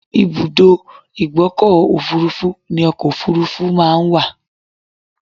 Ìbùdó ìgbọ́kọ̀ òfurufú ni ọkọ òfurufú máa ńwà.